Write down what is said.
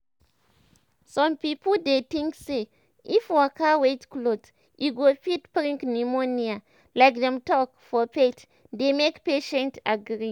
some pipo dey tink say if you waka wet cloth e go fit bring pneumonia like dem talk for faith dey make patient agree.